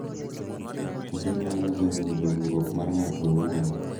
Kendo nyalo geng’o dongruok mar ng’ato owuon.